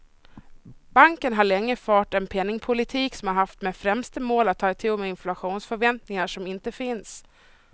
Banken har lika länge fört en penningpolitik som haft som främsta mål att ta itu med inflationsförväntningar som inte finns.